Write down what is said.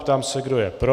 Ptám se, kdo je pro.